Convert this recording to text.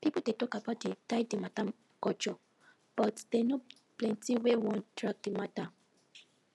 people dey tok about de die de mata culture but dem no plenty wey wan drag de mata